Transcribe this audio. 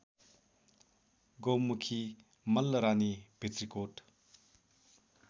Gaumukhi Mallarani Bhitrikot